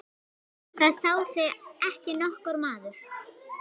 Það sá þig ekki nokkur maður!